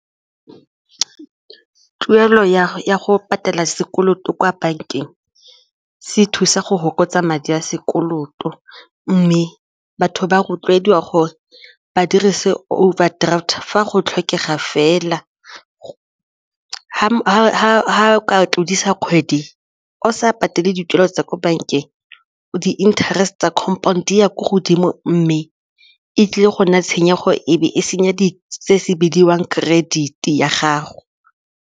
Tuelo ya go patela sekoloto kwa bankeng se thusa go fokotsa madi a sekoloto mme batho ba rotloediwa gore ba dirise overdraft fa go tlhokega fela ga o ka tlodisa kgwedi o sa patele dituelo tsa ko bankeng di-interest tsa compound ya ko godimo mme e tlile go nna tshenyego ebe e senya se bidiwang credit ya gago.